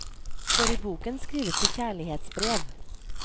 For i boken skrives det kjærlighetsbrev.